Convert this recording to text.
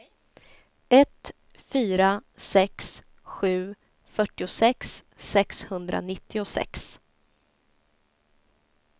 ett fyra sex sju fyrtiosex sexhundranittiosex